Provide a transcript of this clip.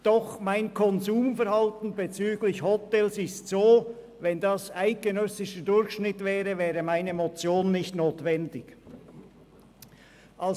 Doch mein Konsumverhalten bezüglich Hotels ist so, dass wenn der eidgenössische Durchschnitt diesem entspräche, meine Motion nicht notwendig wäre.